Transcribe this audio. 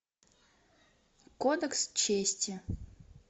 кодекс чести